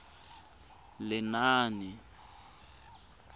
lenaane